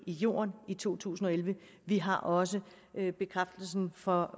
i jorden i to tusind og elleve vi har også bekræftelsen fra